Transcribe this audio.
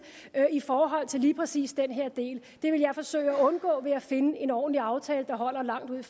i forhold til lige præcis den her del det vil jeg forsøge at undgå ved at finde en ordentlig aftale der holder langt ud i